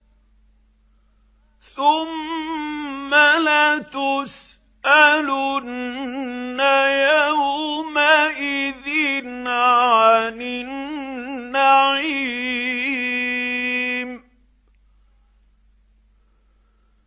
ثُمَّ لَتُسْأَلُنَّ يَوْمَئِذٍ عَنِ النَّعِيمِ